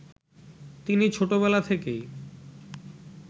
তিনি ছোটবেলা থেকেই